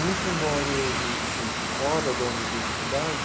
Muito embora hoje eu esteja fora da universidade,